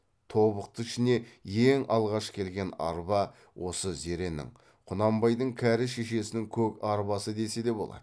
тобықты ішіне ең алғаш келген арба осы зеренің құнанбайдың кәрі шешесінің көк арбасы десе де болады